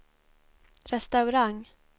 restaurang